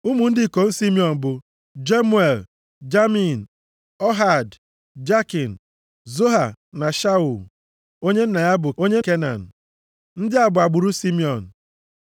Ụmụ ndị ikom Simiọn bụ, Jemuel, Jamin, Ohad, Jakin, Zoha na Shaul (onye nne ya bụ onye Kenan). Ndị a bụ agbụrụ Simiọn.